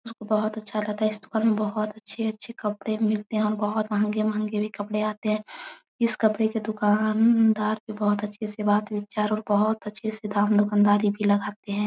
यहाँ पे बहुत अच्छा लगता है। इस दुकान में बहुत अच्छे अच्छे कपड़े मिलते हैं और बहुत महंगे-महंगे भी कपड़े आते हैं। इस कपड़े के दुकानदार भी बहुत अच्छे से बात विचार और बहुत अच्छे से दाम दुकानदारी भी लगाते हैं।